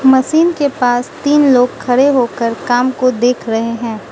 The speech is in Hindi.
मशीन के पास तीन लोग खड़े होकर काम को देख रहे हैं।